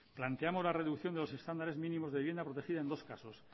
planteamos la reducción de los estándares mínimos de vivienda protegida en dos casos